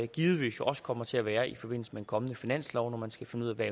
givetvis også kommer til at være i forbindelse med en kommende finanslov hvor man skal finde ud af